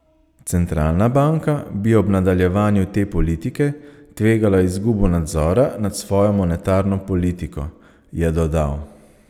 Centralna banka bi ob nadaljevanju te politike tvegala izgubo nadzora nad svojo monetarno politiko, je dodal.